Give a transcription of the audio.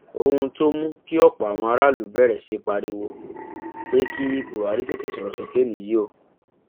ohun tó mú kí ọpọ àwọn aráàlú bẹrẹ sí í pariwo pé kí buhari tètè sọrọ sókè nìyí o